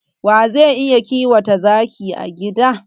Wa zai iya kiwata zaki a gida?